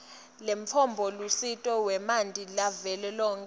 lemtfombolusito wemanti lavelonkhe